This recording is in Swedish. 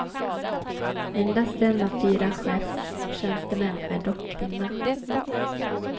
Endast en av fyra chefstjänstemän är dock kvinna.